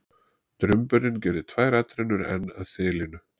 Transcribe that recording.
Drumburinn gerði tvær atrennur enn að þilinu.